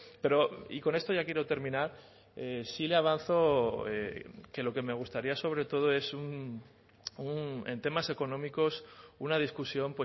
pero y con esto ya quiero terminar sí le avanzo que lo que me gustaría sobre todo es un en temas económicos una discusión